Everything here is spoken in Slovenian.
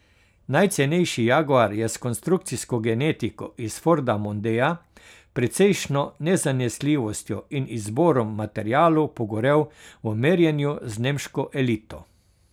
Najcenejši jaguar je s konstrukcijsko genetiko iz forda mondea, precejšnjo nezanesljivostjo in izborom materialov pogorel v merjenju z nemško elito.